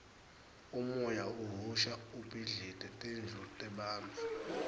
umoya uhhusha ubhidlite tindlu tebantfu